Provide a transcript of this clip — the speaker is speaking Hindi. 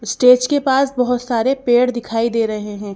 स्टेज के पास बहुत सारे पेड़ दिखाई दे रहे हैं।